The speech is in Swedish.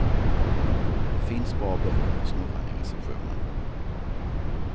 Och det finns bra böcker på snurran i receptionen.